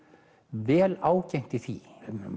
vel ágengt í því